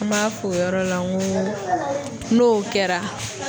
An b'a f'o yɔrɔ la ŋo n'o kɛra